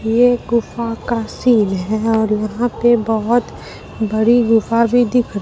ये गुफा का सीन है और यहां पे बहुत बड़ी गुफा भी दिख--